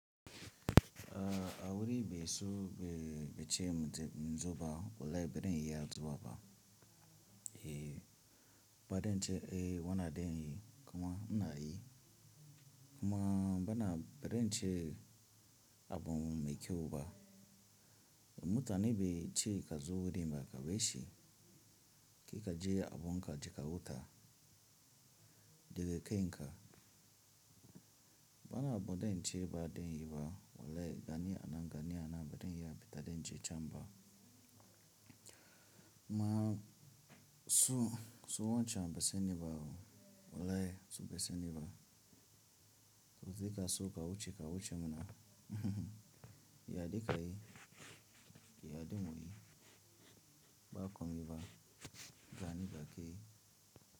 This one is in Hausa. A wuri be so be che en zuba walahi beden iya zuwa ba. Eh, badan che eh wana den yi kuma ina yi. Kuma bana beden che abum mekyeu ba. Mutane be che ka zo dimba ka be shi. Kai ka je abun ka je kahuta, de ken ka. Bana abuden che ba den yi ba walahi gani anan gani anan beden yi ya bita den che camba. Ma su su wanchan be se ni ba o walahi su be se ni ba. So za ka so ka wuce ka wuce muna ya de ka yi, ya de mu yi. Ba komi ba, gani ga kai.